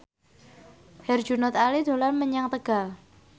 Herjunot Ali dolan menyang Tegal